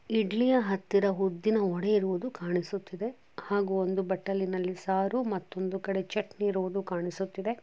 ಇಡ್ಲಿಯ ಹತ್ತಿರ ಉದ್ದಿನ ವಡೆ ಇರುವುದು ಕಾಣಿಸುತ್ತಿದೆ ಹಾಗೂ ಒಂದು ಬಟ್ಟಲಿನಲ್ಲಿ ಸಾರು ಮತ್ತೊಂದು ಕಡೆ ಚಟ್ನಿ ಇರುವುದು ಕಾಣಿಸುತ್ತಿದೆ.